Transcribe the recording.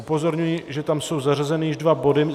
Upozorňuji, že tam jsou zařazeny již dva body.